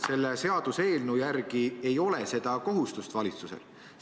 Selle seaduseelnõu järgi seda kohustust valitsusel ei ole.